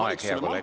Aeg, hea kolleeg!